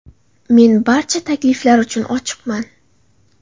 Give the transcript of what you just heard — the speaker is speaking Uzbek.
Men barcha takliflar uchun ochiqman.